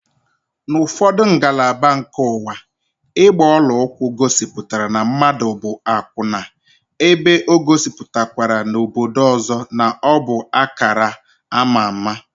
N'ufodu ngalaba nke ụwa, ịgba ọla ụkwụ gosipụtara na mmadụ bụ akwụna, ebe o gosipụtakwara n'odo ọzọ na ọbụ akara ama ámá